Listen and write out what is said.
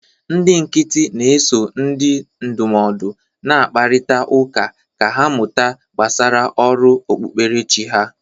Ndị nkịtị na-eso ndị ndụmọdụ na-akparịta ụka ka ha mụta gbasara ọrụ okpukperechi ha